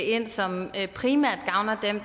ind som primært gavner dem